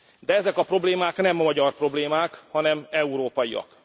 De ezek a problémák nem magyar problémák, hanem európaiak.